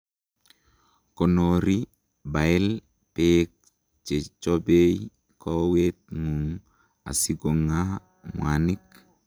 konori bile, beek chechobei kowet ngung asikongaa mwanik